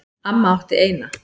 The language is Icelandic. Amma átti eina.